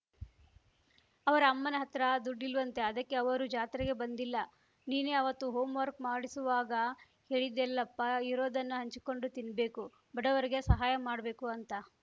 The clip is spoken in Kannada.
ಅವರ ಅಮ್ಮನ ಹತ್ರ ದುಡ್ಡಿಲ್ವಂತೆ ಅದಕ್ಕೆ ಅವರು ಜಾತ್ರೆಗೆ ಬಂದಿಲ್ಲ ನೀನೇ ಅವತ್ತು ಹೊಂ ವರ್ಕ್ ಮಾಡಿಸುವಾಗ ಹೇಳಿದ್ಯಲ್ಲಪ್ಪಾ ಇರೋದನ್ನು ಹಂಚಿಕೊಂಡು ತಿನ್ಬೇಕು ಬಡವರಿಗೆ ಸಹಾಯ ಮಾಡ್ಬೇಕು ಅಂತ